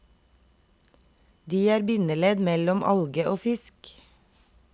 De er bindeledd mellom alge og fisk.